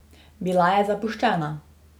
Bila je zapuščena.